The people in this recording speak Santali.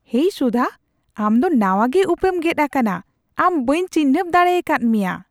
ᱦᱮᱭ ᱥᱩᱫᱷᱟ, ᱟᱢ ᱫᱚ ᱱᱟᱣᱟᱜᱮ ᱩᱯᱮᱢ ᱜᱮᱫ ᱟᱠᱟᱱᱟ ! ᱟᱢ ᱵᱟᱹᱧ ᱪᱤᱱᱦᱟᱹᱯ ᱫᱟᱲᱮᱭᱟᱠᱟᱫ ᱢᱮᱭᱟ !